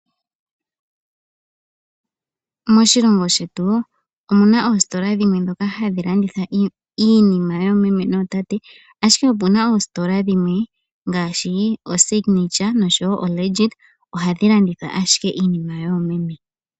Moshilongo shetu omuna oositola dhimwe dhoka hadhi landitha iinima yoomeme nootate, ashike opuna oositola dhimwe ngaashi oSignature nosho woo oLegit ohadhi landitha ashike iinima yoomeme.